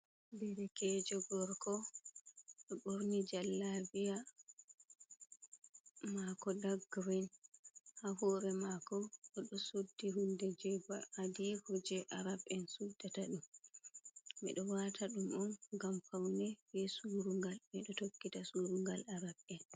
Der kejo gorko oɗo a ɓorni jalla biya, mako dak girin ha hore mako bo ɗo suddi hunde je ba adiko je arab'en suddata ɗum, minɗo wata ɗum on ngam paune be surugal ɓeɗo tokkita surugal arab'en.